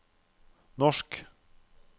norsk